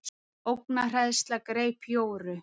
Ógnarhræðsla greip Jóru.